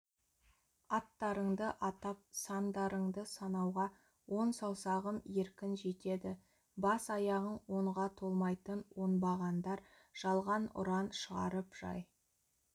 аттарыңды атап сандарыңды санауға он саусағым еркін жетеді бас-аяғың онға толмайтын оңбағандар жалған ұран шығарып жай